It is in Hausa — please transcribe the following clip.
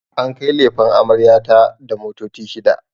An kai lefen amarya ta da motoci shida